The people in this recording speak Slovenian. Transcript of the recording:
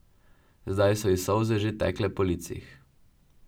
Zdaj so ji solze že tekle po licih.